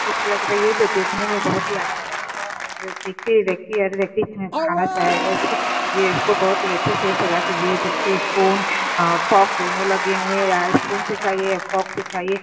Dish लग रही है जो देखने में बहुत ही आकर्षक है और देखते ही देखते हर व्यक्ति इसमें खाना चाहेगा इसको। यह इसको बहुत ही अच्छे से सजा के दिया है जिसपे स्पून अ फोक दोनों ही लगे हुए हैं या स्पून से खाइये या फोक से खाइये।